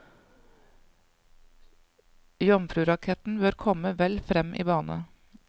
Jomfruraketten bør komme vel frem i bane.